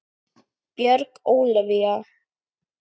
Björg Ólavía.